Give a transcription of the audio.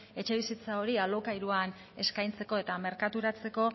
etxebizitza hori alokairuan eskaintzeko eta merkaturatzeko